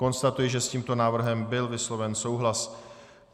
Konstatuji, že s tímto návrhem byl vysloven souhlas.